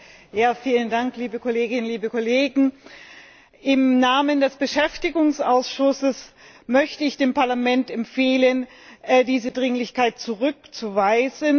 Herr Präsident, liebe Kolleginnen und Kollegen! Im Namen des Beschäftigungsausschusses möchte ich dem Parlament empfehlen, diese Dringlichkeit zurückzuweisen.